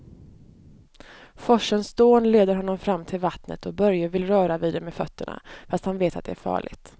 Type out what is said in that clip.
Forsens dån leder honom fram till vattnet och Börje vill röra vid det med fötterna, fast han vet att det är farligt.